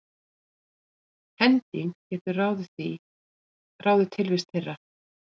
hending getur því ráðið tilvist þeirra